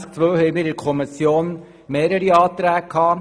Zu Artikel 22 Absatz 2 lagen der Kommission mehrere Anträge vor.